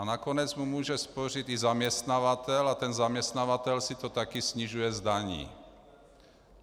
A nakonec mu může spořit i zaměstnavatel a ten zaměstnavatel si to taky snižuje z daní.